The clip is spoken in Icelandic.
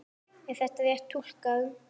Er það rétt túlkun?